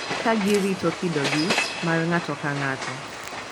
Ka girito kidogi mar ng’ato ka ng’ato.